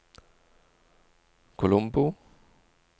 Colombo